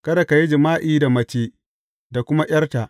Kada ka yi jima’i da mace da kuma ’yarta.